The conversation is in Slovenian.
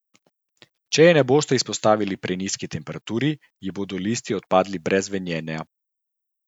Če jo boste izpostavili prenizki temperaturi, ji bodo listi odpadli brez venenja.